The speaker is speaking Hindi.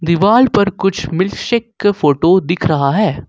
दीवाल पर कुछ मिल्कशेक का फोटो दिख रहा है।